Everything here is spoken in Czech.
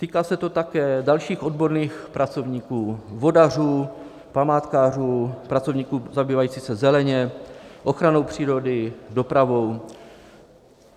Týká se to také dalších odborných pracovníků - vodařů, památkářů, pracovníků zabývajících se zelení, ochranou přírody, dopravou.